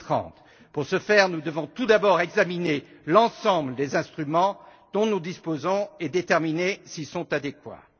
2030. Pour ce faire, nous devons tout d'abord examiner l'ensemble des instruments dont nous disposons et déterminer s'ils sont adéquats.